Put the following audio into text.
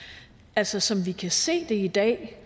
altså som vi kan se det i dag